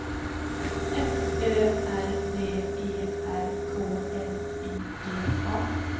F Ö R V E R K L I G A